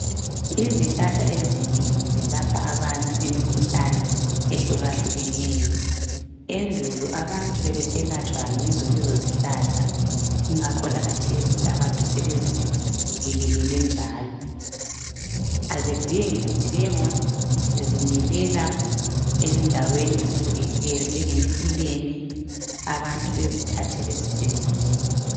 izihlahla ezinengi zelapha abantu imikhuhlane ehlukahlukeneyo ebdulo abantu bebeselatshwa yizo lezo zihlahla ingakho lakhathesi abantu sebezibuyelele njalo azidingi kuthengwa zizimile endaweni ezihlukeneyo ezinjengemifule abantu bazithathele bazisebenzise